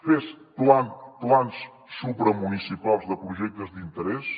fer plans supramunicipals de projectes d’interès